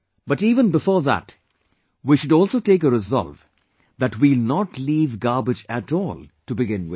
But even before that we should also take a resolve that we will not leave garbage at all, to begin with